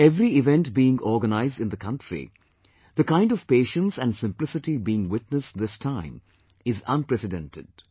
At every event being organised in the country, the kind of patience and simplicity being witnessed this time is unprecedented